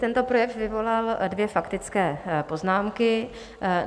Tento projev vyvolal dvě faktické poznámky.